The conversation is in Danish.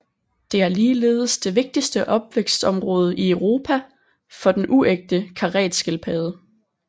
Det er ligeledes det vigtigste opvækstområde i Europa for den uægte karetskildpadde